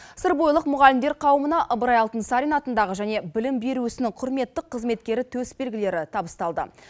сырбойылық мұғалімдер қауымына ыбырай алтынсарин атындағы және білім беру ісінің құрметті қызметкері төсбелгілері табысталды